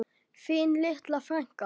Þín litla frænka.